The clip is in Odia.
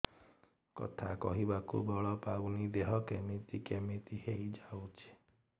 କଥା କହିବାକୁ ବଳ ପାଉନି ଦେହ କେମିତି କେମିତି ହେଇଯାଉଛି